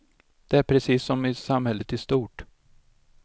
Det är precis som i samhället i stort.